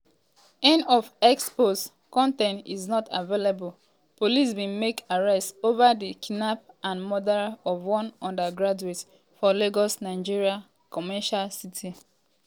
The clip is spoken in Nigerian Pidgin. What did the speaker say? end of x post con ten t is not available police bin make arrest over di kidnap and murder of one undergraduate for lagos nigeria commercial city.